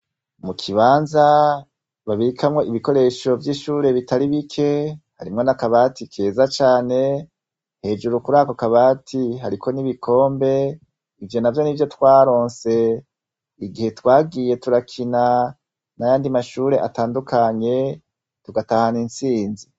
Mukibanza babikamwo ibikoresho vyishure bitari bike harimwo nakabati keza cane hejuru kurako kabati hariko nibikombe ivyonavyo nivyo twaronse igihe twagiye turakina nayandi mashure atandukanye tugatahana intsinzi